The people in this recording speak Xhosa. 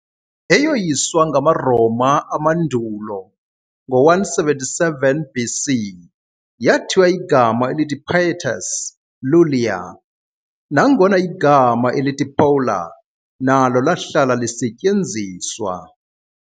Eyoyiswa ngamaRoma amandulo ngo -177 BC, yathiywa igama elithi "Pietas Iulia", nangona igama elithi "Pola" nalo lahlala lisetyenziswa.